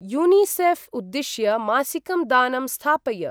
UNICEF उद्दिश्य मासिकं दानं स्थापय।